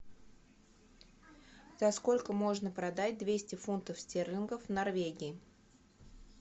за сколько можно продать двести фунтов стерлингов в норвегии